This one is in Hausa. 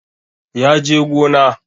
Ya je gona